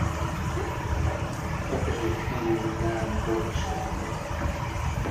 покажи фильм на обочине